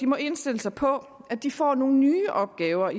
må indstille sig på at de får nogle nye opgaver